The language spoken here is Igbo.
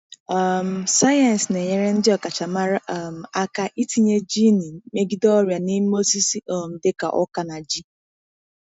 um Sayensị na-enyere ndị ọkachamara um aka itinye jiini megide ọrịa n'ime osisi um dị ka oka na ji.